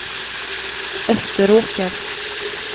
Österåker